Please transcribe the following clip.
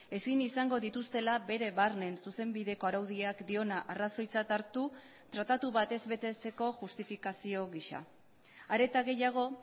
ezin izango dituztela bere barnen zuzenbideko araudiak diona arrazoitzat hartu tratatu batez betetzeko justifikazio gisa are eta gehiago